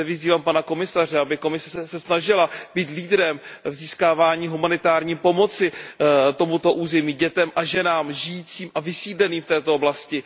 Zde vyzývám pana komisaře, aby se Evropská komise snažila být lídrem v získávání humanitární pomoci tomuto území, dětem a ženám žijícím a vysídleným v této oblasti.